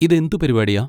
ഇതെന്ത് പരിപാടിയാ?